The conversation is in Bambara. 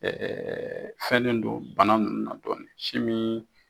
fɛnnen don bana ninnu na dɔɔnin si min